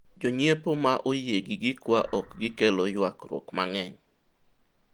jonyiepo ma oyie gi gikwa ok gi kelo ywagruok mang'eny